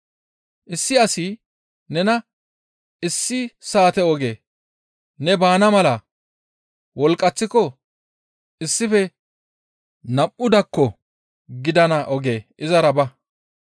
Issi asi nena issi saate oge ne baana mala wolqqaththiko issife nam7u dakko gidana oge izara ba.